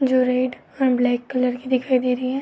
जो रेड और black colour की दिखाई दे रही है।